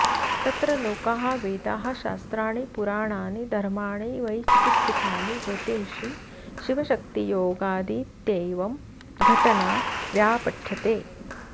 तत्र लोका वेदाः शास्त्राणि पुराणानि धर्माणि वै चिकित्सितानि ज्योतींषि शिवशक्तियोगादित्येवं घटना व्यापठ्यते